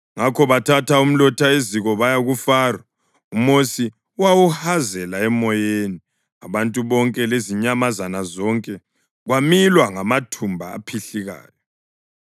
Ngakho bathatha umlotha eziko baya kuFaro. UMosi wawuhazela emoyeni, abantu bonke lezinyamazana zonke kwamilwa ngamathumba aphihlikayo.